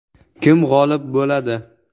Kim g‘olib bo‘ladi?